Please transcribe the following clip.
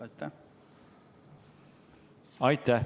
Aitäh!